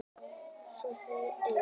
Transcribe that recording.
Svo hryllilega einn.